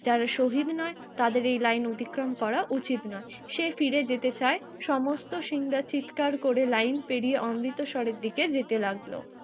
যারা শহীদ নয় তাদের এই লাইন অতিক্রম করা উচিত নয়। সে ফিরে যেতে চায় সমস্ত সিং রা চিৎকার করে লাইন পেরিয়ে অমৃতসরের দিকে যেতে লাগলো